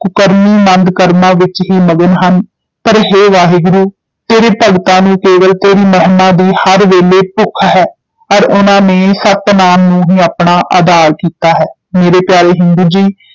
ਕੁਕਰਮੀ ਮੰਦ ਕਰਮਾਂ ਵਿੱਚ ਹੀ ਮਗਨ ਹਨ, ਪਰ ਹੇ ਵਾਹਿਗੁਰੂ ਤੇਰੇ ਭਗਤਾਂ ਨੂੰ ਕੇਵਲ ਤੇਰੀ ਮਹਿਮਾ ਦੀ ਹਰ ਵੇਲੇ ਭੁੱਖ ਹੈ, ਅਰ ਉਨ੍ਹਾਂ ਨੇ ਸਤਿਨਾਮੁ ਨੂੰ ਹੀ ਆਪਣਾ ਆਧਾਰ ਕੀਤਾ ਹੈ, ਮੇਰੇ ਪਿਆਰੇ ਹਿੰਦੂ ਜੀ,